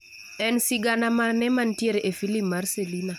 En sigana maqne mantiere e filim mar Selina